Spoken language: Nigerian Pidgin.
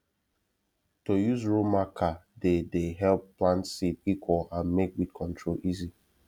to use row marker dey dey help plant seed equal and make weed control easy